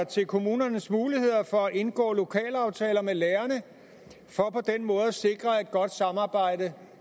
til kommunernes muligheder for at indgå lokalaftaler med lærerne for på den måde at sikre et godt samarbejde